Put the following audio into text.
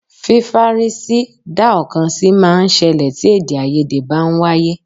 Fífárí sí dá ọ̀kan sí máa ń ṣẹlẹ̀ tí èdè-áiyedé bá ń wáyé.